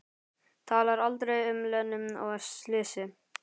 Talar aldrei um Lenu og slysið.